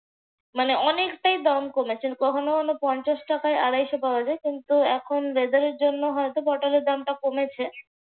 মানে অনেকটাই দাম কমেছে। কখনো কখনো পঞ্চাশ টাকায় আড়াইশ পাওয়া যায়। কিন্তু weather এর জন্য পটলের দামটা কমেছে।